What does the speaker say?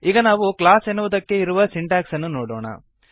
ಈಗ ನಾವು ಕ್ಲಾಸ್ ಎನ್ನುವುದಕ್ಕೆ ಇರುವ ಸಿಂಟ್ಯಾಕ್ಸನ್ನು ನೋಡೋಣ